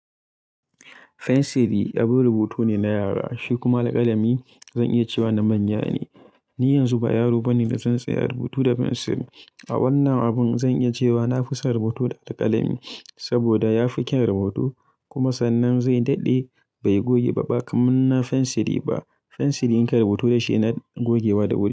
Fensili abun rubutu ne na yara, shi kuma alkalami zan iya cewa na manya ne. Ni yanzu ba yaro bane da zan tsaya rubutu da fensil. A wannan abun zan iya cewa na fi son rubutu da alkalami saboda ya fi kyan rubutu kuma sannan zai daɗe bai goge ba, ba kaman na fensili ba. Fensili in ka yi rubutu da shi na gogewa da wuri.